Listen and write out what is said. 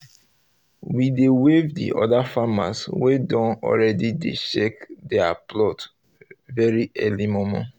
we dey um wave the other farmers um wey don already dey check their um plot very early momo